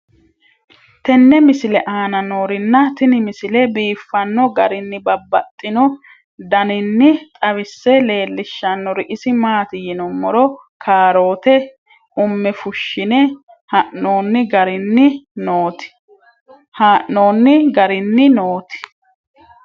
tenne misile aana noorina tini misile biiffanno garinni babaxxinno daniinni xawisse leelishanori isi maati yinummoro kaarootte umme fushshinne haa'noonni garinni nootti.